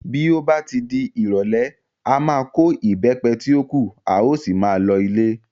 Bí ó bá di ìrọ̀lẹ́, a máa kó Ìbẹ́pẹ tí ó kù, a ó sì máa lọ ilé.